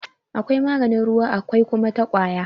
Akwai maganin ruwa akwai kuma ta ƙwaya..